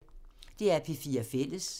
DR P4 Fælles